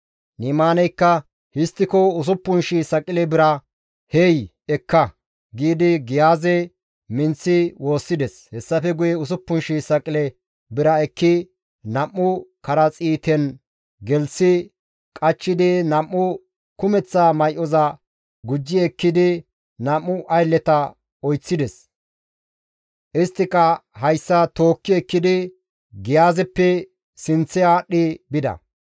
Ni7imaaneykka «Histtiko 6,000 saqile bira hey ekka» giidi Giyaaze minththi woossides. Hessafe guye 6,000 saqile bira ekki nam7u karaxiiten gelththi qachchidi nam7u kumeththa may7oza gujji ekkidi nam7u aylleta oyththides. Isttika hessa tookki ekkidi Giyaazeppe sinththe aadhdhi bida.